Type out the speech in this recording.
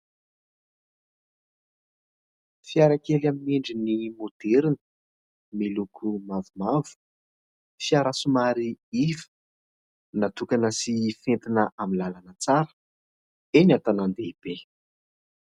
Fiara kely amin'ny endriny maoderina, miloko mavomavo, fiara somary iva natokana sy fentina amin'ny lalana tsara eny an-tanàn-dehibe.